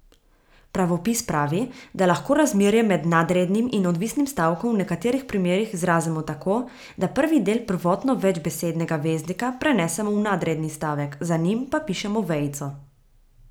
Pravopis pravi, da lahko razmerje med nadrednim in odvisnim stavkom v nekaterih primerih izrazimo tako, da prvi del prvotno večbesednega veznika prenesemo v nadredni stavek, za njim pa pišemo vejico.